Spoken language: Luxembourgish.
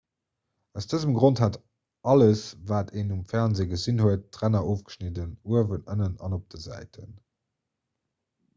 aus dësem grond hat alles wat een um fernsee gesinn huet d'ränner ofgeschnidden uewen ënnen an op de säiten